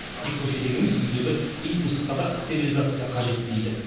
тек көшедегі емес үйдегі ит мысыққа да стерилизация қажет дейді